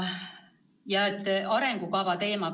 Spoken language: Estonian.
Ja on ka arengukava teema.